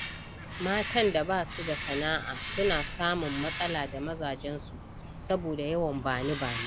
Matan da ba su da sana’a suna samun matsala da mazajensu saboda yawan ba ni, ba ni.